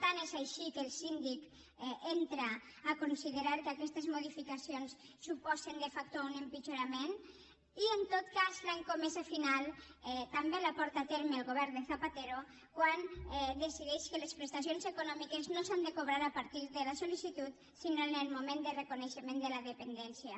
tant és així que el síndic entra a considerar que aquestes modificacions suposen de factoi en tot cas l’escomesa final també la porta a terme el govern de zapatero quan decideix que les prestacions econòmiques no s’han de cobrar a partir de la sollicitud sinó en el moment de reconeixement de la dependència